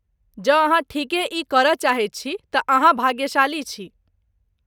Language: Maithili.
जँ अहाँ ठीके ई करय चाहैत छी तँ अहाँ भाग्यशाली छी।